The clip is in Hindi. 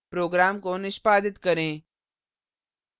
program को निष्पादित करें